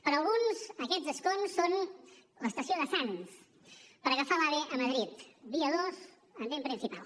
per a alguns aquests escons són l’estació de sants per agafar l’ave a madrid vía dos andén principal